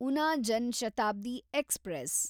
Una Jan Shatabdi express